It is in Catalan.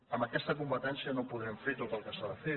amb aquesta competència no podrem fer tot el que s’ha de fer